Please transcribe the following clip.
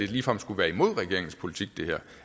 ligefrem skulle være imod regeringens politik